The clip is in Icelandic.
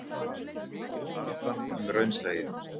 Baráttan um raunsæið.